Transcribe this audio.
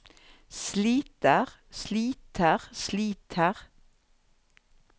sliter sliter sliter